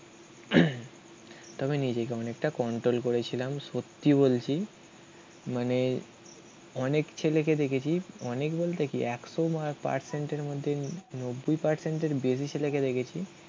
তবে নিজেকে অনেকটা কন্ট্রোল করেছিলাম. সত্যি বলছি. মানে অনেক ছেলেকে দেখেছি. অনেক বলতে কি একশো পার্সেন্টের মধ্যে নব্বই পার্সেন্টের বেশি ছেলেকে দেখেছি.